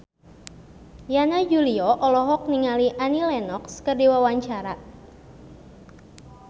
Yana Julio olohok ningali Annie Lenox keur diwawancara